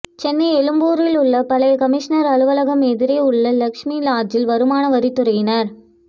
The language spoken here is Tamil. சென்னை எழும்பூரில் உள்ள பழைய கமிஷனர் அலுவலகம் எதிரே உள்ள லட்சுமி லாட்ஜில் வருமான வரித்துறையினர்